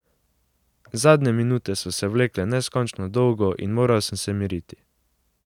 Zadnje minute so se vlekle neskončno dolgo in moral sem se miriti.